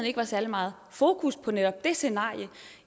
ikke var særlig meget fokus på netop det scenarie